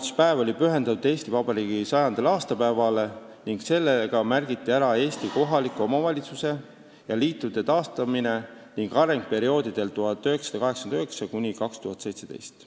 See oli pühendatud Eesti Vabariigi 100. aastapäevale ning sellega märgiti ära Eesti kohalike omavalitsuste ja nende liitude taastamine ning areng perioodil 1989–2017.